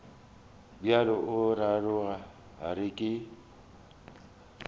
bjalo o ra gore ke